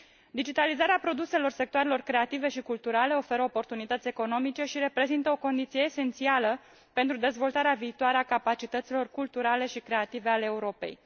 Digitalizarea produselor sectoarelor creative și culturale oferă oportunități economice și reprezintă o condiție esențială pentru dezvoltarea viitoare a capacităților culturale și creative ale Europei.